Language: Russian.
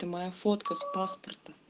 это моя фотка с паспорта